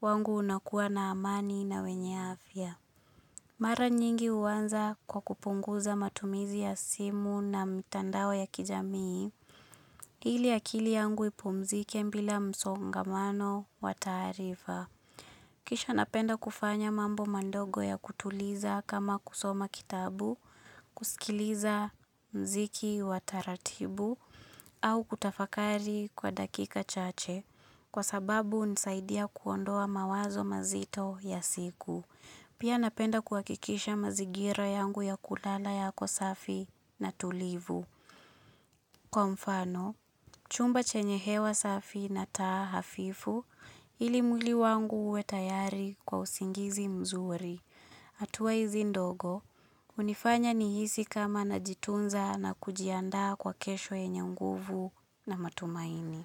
wangu unakuwa na amani na wenye afya. Mara nyingi uwanza kwa kupunguza matumizi ya simu na mitandao ya kijamii, ili akili yangu ipumzike mbila msongamano wataarifa. Kisha napenda kufanya mambo mandogo ya kutuliza kama kusoma kitabu, kusikiliza mziki wataratibu au kutafakari kwa dakika chache kwa sababu unisaidia kuondoa mawazo mazito ya siku. Pia napenda kuakikisha mazigira yangu ya kulala yako safi na tulivu. Kwa mfano, chumba chenye hewa safi na taa hafifu ili mwili wangu uwe tayari kwa usingizi mzuri. Atua hizi ndogo, unifanya nihisi kama na jitunza na kujiandaa kwa kesho yenye nguvu na matumaini.